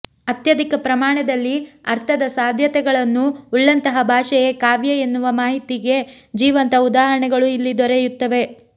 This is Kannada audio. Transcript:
ಅತ್ಯಧಿಕ ಪ್ರಮಾಣದಲ್ಲಿ ಅರ್ಥದ ಸಾಧ್ಯತೆಗಳನ್ನು ಉಳ್ಳಂತಹ ಭಾಷೆಯೇ ಕಾವ್ಯೆ ಎನ್ನುವ ಮಾತಿಗೆ ಜೀವಂತ ಉದಾಹರಣೆಗಳು ಇಲ್ಲಿ ದೊರೆಯುತ್ತವೆ